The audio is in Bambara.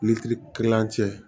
kilancɛ